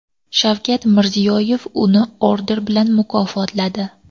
Shavkat Mirziyoyev uni orden bilan mukofotladi .